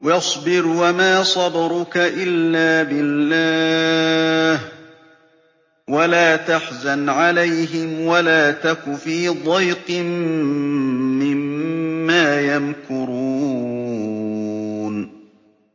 وَاصْبِرْ وَمَا صَبْرُكَ إِلَّا بِاللَّهِ ۚ وَلَا تَحْزَنْ عَلَيْهِمْ وَلَا تَكُ فِي ضَيْقٍ مِّمَّا يَمْكُرُونَ